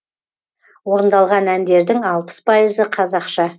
орындалған әндердің алпыс пайызы қазақша